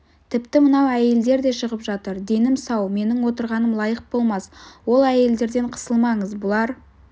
тіпті мынау әйелдер де шығып жатыр денім сау менің отырғаным лайық болмас ол әйелдерден қысылмаңыз бұлар